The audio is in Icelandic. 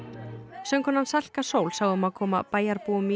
söngkonan Salka Sól sá um að koma bæjarbúum í